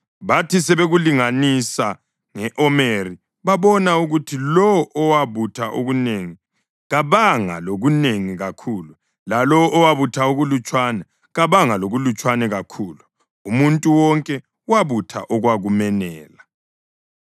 Bathi sebekulinganisa nge-omeri babona ukuthi lowo owabutha okunengi kabanga lokunengi kakhulu, lalowo owabutha okulutshwana kabanga lokulutshwana kakhulu. Umuntu wonke wabutha okwakumenela.